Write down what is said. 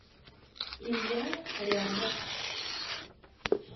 илья рябов